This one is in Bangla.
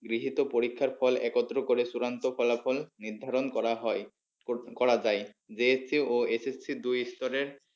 গৃহীত পরীক্ষার ফল একত্র করে চূড়ান্ত ফলাফল নির্ধারণ করা হয় করা যায় JSC ও SSC দুই ঈশ্বরের